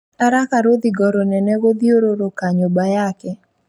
Araka rũthingo rũnene gũthiũrũrũka nyũmba yake